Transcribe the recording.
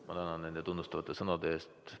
Ma tänan nende tunnustavate sõnade eest!